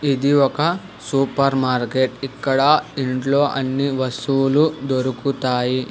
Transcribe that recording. ఇది ఒక super market ఇక్కడ ఇంట్లో అన్ని వస్తువులు దొరుకుతాయి